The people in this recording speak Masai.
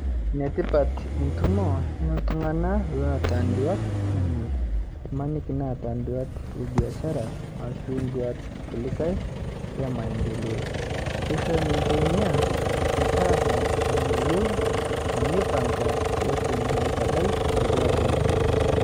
Nia tipat itimo o ltung'ana loata nduat, imaniki neeta nduat e biashara ashuu nduat kulikai e maendeleo keishoo ninchee nia meetasa nayou teneipang'a peetum aitabai nduata anchee.